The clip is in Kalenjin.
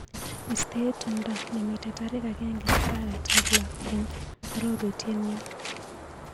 Istee tumndo nemiite tarik agenge arawetap loo eng arorutienyu.